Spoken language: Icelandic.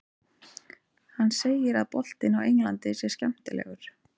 Hann segir að boltinn á Englandi sé skemmtilegur.